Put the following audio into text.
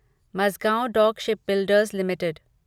Mazagon dock shipbuilders limited